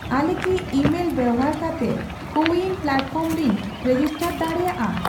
ᱟᱞᱮ ᱠᱤ ᱤᱢᱮᱞ ᱵᱮᱵᱚᱦᱟᱨ ᱠᱟᱛᱮ ᱠᱳ ᱣᱩᱭᱤᱱ ᱯᱞᱟᱴᱯᱷᱚᱨᱢ ᱨᱮᱧ ᱨᱮᱡᱤᱥᱴᱟᱨ ᱫᱟᱲᱮᱭᱟᱜᱼᱟ ?